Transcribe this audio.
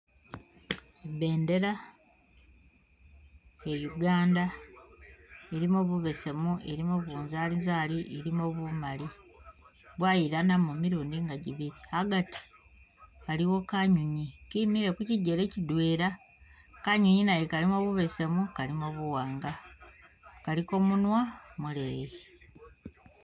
I bendera iya uganda, ilimo bu besemu ilimo bunzalizali ilimo bumali bwayilanamo milundi nga jibili, agati aliwo kanyonyi kimile kukyijele kyidwela kanyonyi naye kalimo bu besemu kalimo bu wanga kaliko munwa muleeyi.